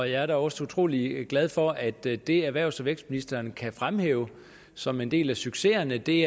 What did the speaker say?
jeg er da også utrolig glad for at det det erhvervs og vækstministeren kan fremhæve som en del af succesen er det